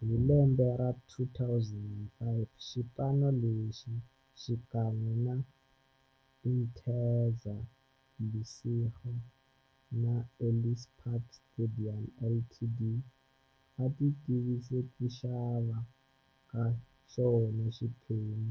Hi lembe ra 2005, xipano lexi, xikan'we na Interza Lesego na Ellis Park Stadium Ltd, va tivise ku xava ka xona xiphemu